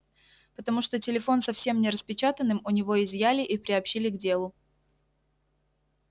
потому что телефон со всем нераспечатанным у него изъяли и приобщили к делу